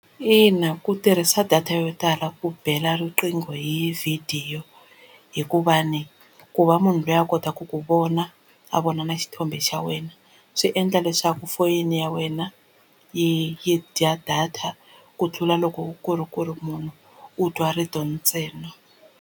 Ina ku tirhisa data yo tala ku bela riqingho hi vhidiyo hikuva ni ku va munhu loyi a kotaka ku vona a vona na xithombe xa wena swi endla leswaku foyini ya wena yi yi dya data ku tlula loko ku ri ku ri munhu u twa rito ntsena.